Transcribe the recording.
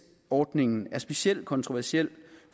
ordningen er specielt kontroversiel